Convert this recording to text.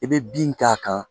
I bɛ bin k'a kan